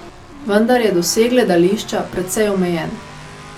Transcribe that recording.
Vendar je doseg gledališča precej omejen...